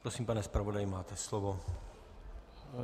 Prosím, pane zpravodaji, máte slovo.